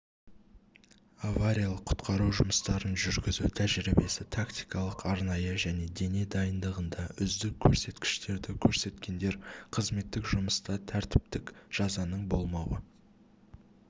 авариялық-құтқару жұмыстарын жүргізу тәжірибесі тактикалық-арнайы және дене дайындығында үздік көрсеткіштерді көрсеткендер қызметтік жұмыста тәртіптік жазаның болмауы